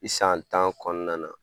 I san tan kɔnɔna na.